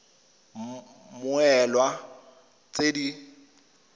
id ya mmoelwa tse di